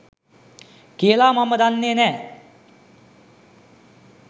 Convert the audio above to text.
කියලා මම දන්නේ නෑ.